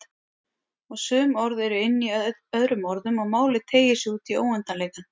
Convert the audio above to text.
Og sum orð eru inní öðrum orðum og málið teygir sig útí óendanleikann.